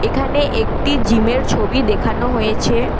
এখানে একটি জিমের ছবি দেখানো হয়েছে।